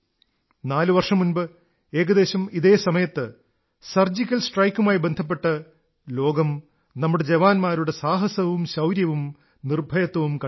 നാലു വർഷം മുമ്പ് ഏകദേശം ഇതേ സമയത്ത് സർജിക്കൽ സ്ട്രൈക്കുമായി ബന്ധപ്പെട്ട് ലോകം നമ്മുടെ ജവാന്മാരുടെ സാഹസവും ശൌര്യവും നിർഭയത്വവും കണ്ടു